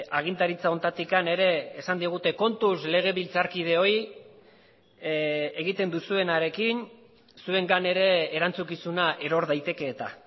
agintaritza honetatik ere esan digute kontuz legebiltzarkideoi egiten duzuenarekin zuengan ere erantzukizuna eror daiteke eta